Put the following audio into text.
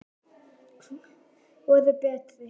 Hvor er betri?